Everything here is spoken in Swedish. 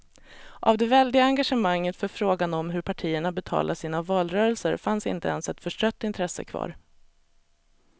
Av det väldiga engagemanget för frågan om hur partierna betalade sina valrörelser fanns inte ens ett förstrött intresse kvar.